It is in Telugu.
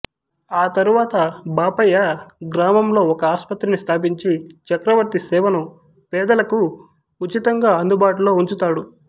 ఆ తరువాత బాపయ్య గ్రామంలో ఒక ఆసుపత్రిని స్థాపించి చక్రవర్తి సేవను పేదలకు ఉచితంగా అందుబాటులో ఉంచుతాడు